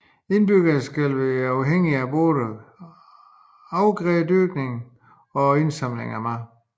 Indbyggerne skal have været afhængige af både afgrædedyrkning og indsamling af mad